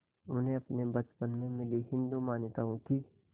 उन्हें अपने बचपन में मिली हिंदू मान्यताओं की